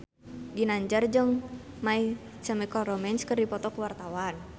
Ginanjar jeung My Chemical Romance keur dipoto ku wartawan